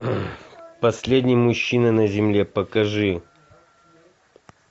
последний мужчина на земле покажи